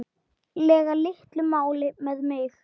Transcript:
lega litlu máli með mig.